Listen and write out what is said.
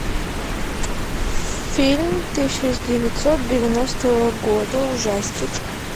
фильм тысяча девятьсот девяностого года ужастик